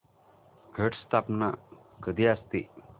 घट स्थापना कधी असते